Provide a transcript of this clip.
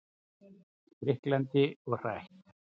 Spriklandi og hrætt.